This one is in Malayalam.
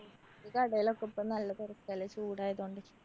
കടെലൊക്കെ ഇപ്പോ നല്ല തെരക്കല്ലേ ചൂടായതോണ്ട്.